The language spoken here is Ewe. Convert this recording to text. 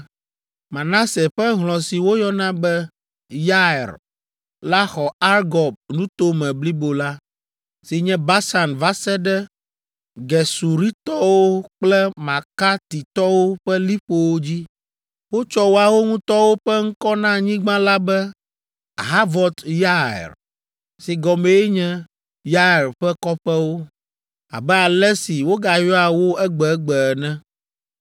Manase ƒe hlɔ̃ si woyɔna be Yair la xɔ Argob nuto me blibo la, si nye Basan va se ɖe Gesuritɔwo kple Makatitɔwo ƒe liƒowo dzi. Wotsɔ woawo ŋutɔwo ƒe ŋkɔ na anyigba la be Havɔt Yair si gɔmee nye “Yair ƒe Kɔƒewo” abe ale si wogayɔa wo egbegbe ene.